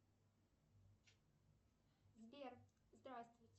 сбер здравствуйте